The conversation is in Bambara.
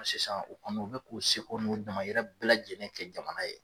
Sisan u kɔni u bɛ k'u seko n'u damayira bɛɛ lajɛlen kɛ jamana ye.